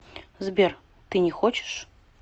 сбер ты не хочешь